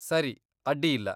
ಸರಿ, ಅಡ್ಡಿಯಿಲ್ಲ.